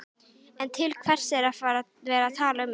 En til hvers er að vera að tala um þetta?